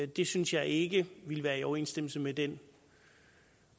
det synes jeg ikke ville være i overensstemmelse med den